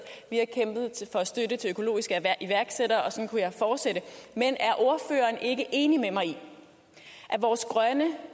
vi har kæmpet for støtte til økologiske iværksættere og sådan kunne jeg fortsætte men er ordføreren ikke enig med mig i at vores grønne